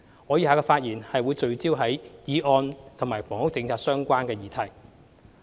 我以下的發言則會聚焦於議案與房屋政策相關的議題。